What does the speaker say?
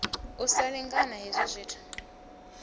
u sa lingana hezwi zwithu